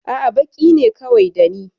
A'a, baƙi ne kawai da ni.